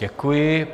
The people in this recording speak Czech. Děkuji.